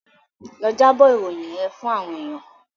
Lọ jábọ̀ ìròyìn yẹ́n fún àwọn èèyàn.